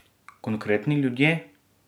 Konkretni ljudje?